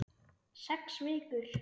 Sex vikur.